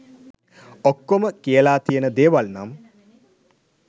ඔක්කොම කියලා තියන දේවල් නම්